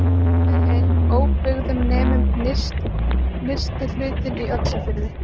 kerfið er í óbyggðum nema nyrsti hlutinn í öxarfyrði